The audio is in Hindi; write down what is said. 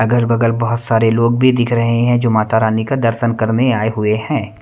अगल-बगल बहुत सारे लोग भी दिख रहे हैं जो माता रानी का दर्शन करने आए हुए हैं।